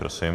Prosím.